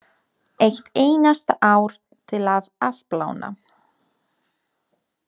Eitt einasta ár til að afplána.